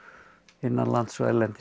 innanlands og erlendis